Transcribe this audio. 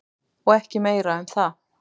Og ekki meira um það.